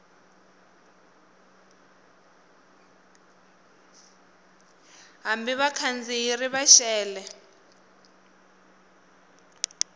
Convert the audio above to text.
hambi vakhandziyi ri va xele